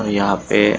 और यहाँ पे--